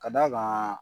Ka d'a kan